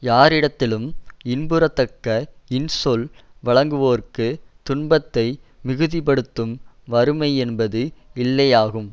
யாரிடத்திலும் இன்புறத்தக்க இன்சொல் வழங்குவோர்க்குத் துன்பத்தை மிகுதிபடுத்தும் வறுமை என்பது இல்லையாகும்